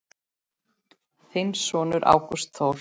Þinn sonur Ágúst Þór.